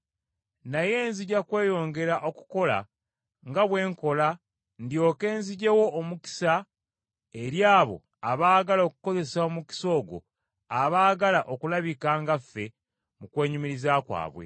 Naye nzija kweyongera okukola nga bwe nkola ndyoke nziggyewo omukisa eri abo abaagala okukozesa omukisa ogwo abaagala okulabika nga ffe mu kwenyumiriza kwabwe.